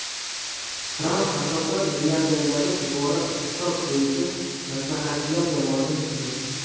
Tramp asosan milliarderlardan iborat iqtisod bo‘yicha maslahatchilar jamoasini tuzdi.